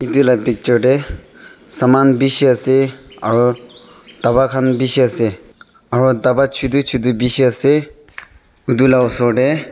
edu la picture tae saman bishi ase aro bapa khan bishi ase aro dapa chutu chutu bishi ase aro edu la osor tae--